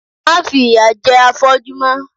Má fi ìyà jẹ afọ́jú mọ!